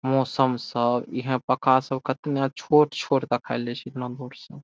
मौसम सब इहे पक्का सब केतना छोट-छोट दिखाई दे छै इतना दूर से।